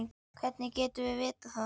Hvernig getum við vitað það?